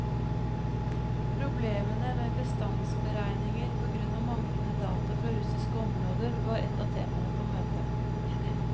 Problemene med bestandsberegninger på grunn av manglende data fra russiske områder, var et av temaene på møtet.